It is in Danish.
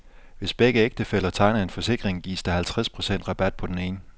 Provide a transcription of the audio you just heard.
Hvis begge ægtefæller tegner en forsikring, gives der halvtreds procent rabat på den ene.